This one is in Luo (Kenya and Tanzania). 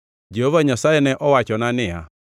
Jehova Nyasaye ne owachona niya,